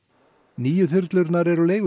nýju þyrlurnar eru